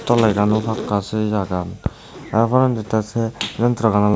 toley gaan yo paka seyegan tar porendi sey trekkan olodey.